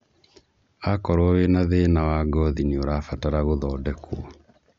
Akorwo wĩna thĩna wa ngothi nĩurabatara gũthodekwo